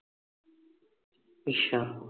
ਅੱਛਾ